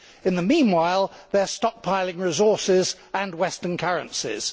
In the meanwhile, they are stock piling resources and Western currencies.